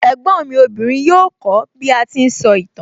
Ẹ̀gbọ́n mi obìnrin yóò kó bí a ti ń sọ ìtàn